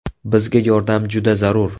Bizga yordam juda zarur.